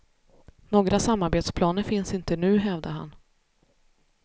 Några samarbetsplaner finns inte nu, hävdar han.